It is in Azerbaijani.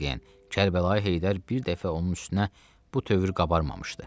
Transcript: Vağyen Kərbəlayı Heydər bir dəfə onun üstünə bu tövr qabarmamışdı.